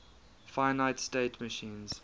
finite state machines